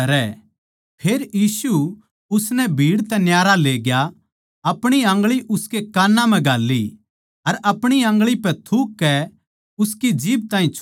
फेर यीशु उसनै भीड़ तै न्यारा लेग्या आपणी आन्गळी उसकै कान्ना म्ह घाल्ली अर आपणी आन्गळी पै थूककै उसकी जीभ ताहीं छुया